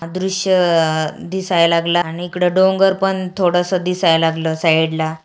हा दृश्य दिसाय लागला आणि इकड डोंगर पण थोड़स दिसाय लागल साइडला --